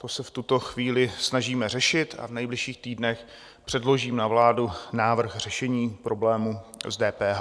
To se v tuto chvíli snažíme řešit a v nejbližších týdnech předložím na vládu návrh řešení problému s DPH.